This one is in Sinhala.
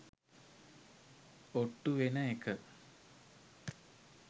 ඔට්ටු වෙන එක